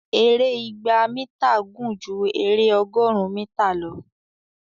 èrè ìgbà mítà gún jù ere ọgọrùn mítà lọ